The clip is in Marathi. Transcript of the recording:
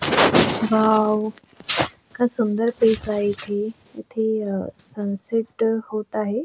वाव इतक सुंदर आहे इथे इथे अ सनसेट अ होत आहे.